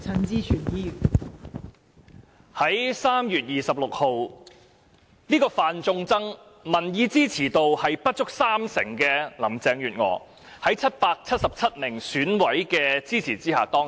代理主席，在3月26日，這位"犯眾憎"、民意支持度不足三成的林鄭月娥，在777名選委的支持下當選。